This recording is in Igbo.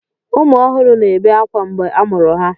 Ụmụ ọhụrụ na-ebe ákwá mgbe a mụrụ ha.